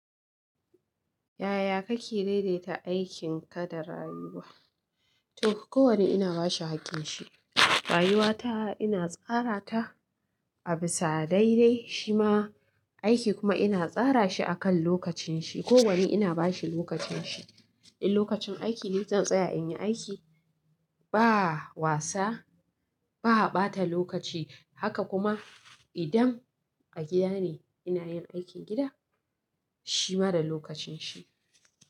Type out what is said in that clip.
Yaya kake daidaita aikin ka da rayuwa? To kowani ina bashi hakin shi. Rayuwa ta ina tsara ta, a fi sa daidai, shima aiki kuma ina fara shi a kan lokacin shi kowanne ina bashi lokacin shi, in lokacin aiki ne zan tsaya in yi aiki ba wasa ba ɓata lokaci. Haka kuma idan a gida ne ina yin aikin gida shi ma da lokacin shi.